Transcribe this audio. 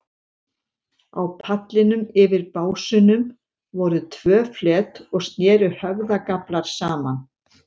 Á pallinum, yfir básunum, voru tvö flet og sneru höfðagaflar saman.